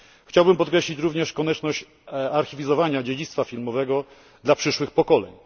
Chciałabym podkreślić również konieczność archiwizowania dziedzictwa filmowego dla przyszłych pokoleń.